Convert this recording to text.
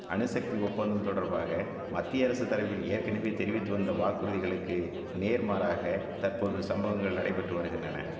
அணுசக்தி ஒப்பந்தம் தொடர்பாக மத்திய அரசு தரப்பில் ஏற்கனவே தெரிவித்து வந்த வாக்குறுதிகளுக்கு நேர்மாறாக தற்போது சம்பவங்கள் நடைபெற்று வருகின்றன